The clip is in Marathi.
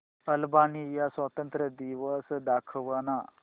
अल्बानिया स्वातंत्र्य दिवस दाखव ना